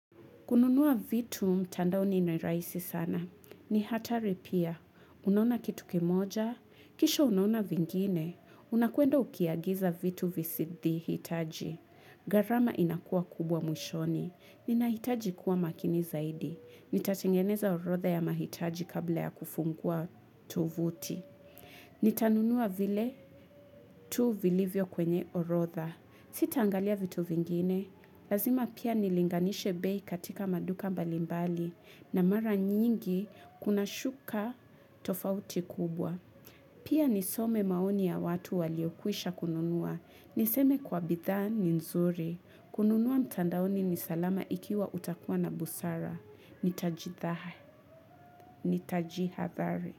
Kununua vitu mtandao ni niraisi sana. Ni hatari pia. Unaona kitu kimoja. Kisho unona vingine. Unakwenda ukiagiza vitu visidi hitaji. Garama inakua kubwa mwishoni. Ninahitaji kuwa makini zaidi. Nitatengeneza orotha ya mahitaji kabla ya kufungua tovuti. Ni tanunua vile tuu vilivyo kwenye orotha. Sita angalia vitu vingine. Lazima pia nilinganishe bei katika maduka mbalimbali na mara nyingi kuna shuka tofauti kubwa. Pia nisome maoni ya watu waliokwisha kununua. Niseme kwa bidhaa ni nzuri. Kununua mtandaoni ni salama ikiwa utakuwa na busara. Ni tajithaha, ni tajiha dhari.